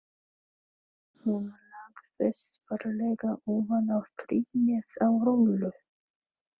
Hún lagðist varlega ofan á trýnið á Rolu.